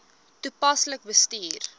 toepaslik bestuur